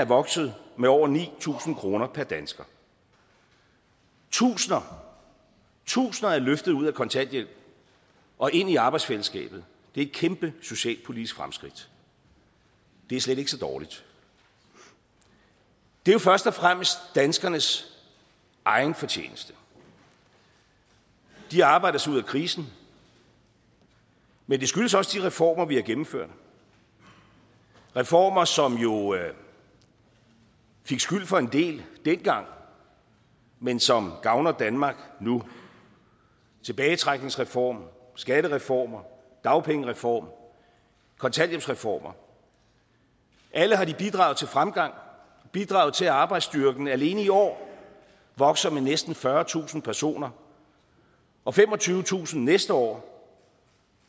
vokset med over ni tusind kroner per dansker tusinder tusinder er løftet ud af kontanthjælp og ind i arbejdsfællesskabet det er et kæmpe socialpolitisk fremskridt det er slet ikke så dårligt det er jo først og fremmest danskernes egen fortjeneste de har arbejdet sig ud af krisen men det skyldes også de reformer vi har gennemført reformer som jo fik skyld for en del dengang men som gavner danmark nu tilbagetrækningsreform skattereformer dagpengereform kontanthjælpsreformer alle har de bidraget til fremgang bidraget til at arbejdsstyrken alene i år vokser med næsten fyrretusind personer og femogtyvetusind næste år